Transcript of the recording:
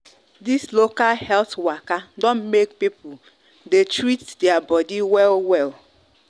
this local health waka don make people dey treat their body well well